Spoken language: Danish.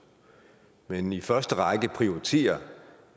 men i første række prioriterer